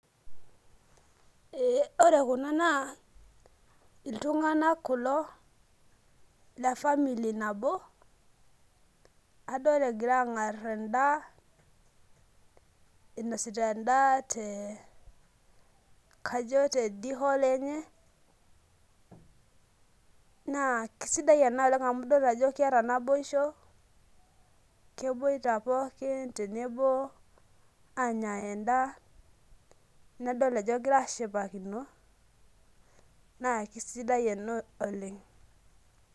eeh ore kuna naa iltunganak kulo, le family nabo adol egira aang'ar edaa ,inosita edaa te kajo te d hall enye, naa kisidai ena oleng amu idol ajo keeta naboisho, keboita pookin tenebo aanya eda, nadol ajoe kegira ashipakino naa kisidai ena oleng.